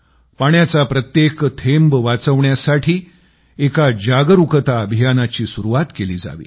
पाण्याचा प्रत्येक थेंब वाचवण्यासाठी एका जागरूकता अभियानाची सुरूवात केली जावी